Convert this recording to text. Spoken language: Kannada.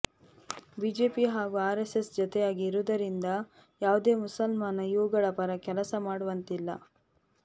ಬಿಜೆಪಿ ಹಾಗೂ ಆರ್ ಎಸ್ ಎಸ್ ಜತೆಯಾಗಿ ಇರುವುದರಿಂದ ಯಾವುದೇ ಮುಸಲ್ಮಾನ ಇವುಗಳ ಪರ ಕೆಲಸ ಮಾಡುವಂತಿಲ್ಲ